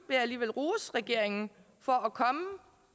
jeg alligevel rose regeringen for at komme